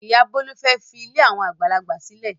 Ìyá Bólú fẹ́ fi ilé àwọn àgbàlagbà sílẹ̀.